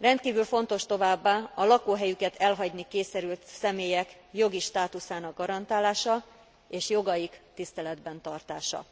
Rendkívül fontos továbbá a lakóhelyüket elhagyni kényszerült személyek jogi státuszának garantálása és jogaik tiszteletben tartása,